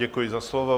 Děkuji za slovo.